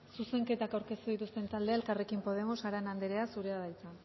zuzenketak aurkeztu dituzten taldea elkarrekin podemos arana anderea zurea da hitza